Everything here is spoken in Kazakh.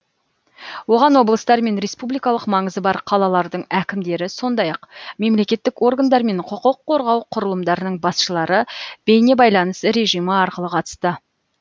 оған облыстар мен республикалық маңызы бар қалалардың әкімдері сондай ақ мемлекеттік органдар мен құқық қорғау құрылымдарының басшылары бейнебайланыс режимі арқылы қатысты